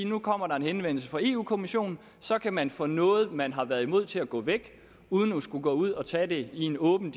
nu kommer der en henvendelse fra eu kommissionen så kan man få noget man har været imod til at gå væk uden at skulle gå ud og tage det i en åben